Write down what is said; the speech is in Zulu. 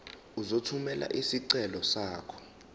uzothumela isicelo sakho